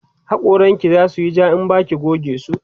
hakoran ki zasuyi ja in Baki goge su